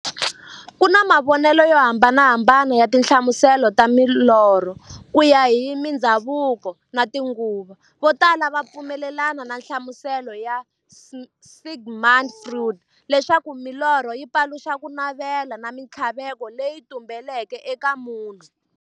Ku na mavonele yo hambanahambana ya tinhlamuselo ta milorho, kuya hi mindzhavuko na tinguva. Votala va pfumelana na nhlamuselo ya Sigmund Freud, leswaku milorho yi paluxa kunavela na minthlaveko leyi tumbeleke eka munhu.